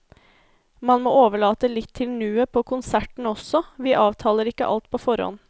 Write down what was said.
Man må overlate litt til nuet på konserten også, vi avtaler ikke alt på forhånd.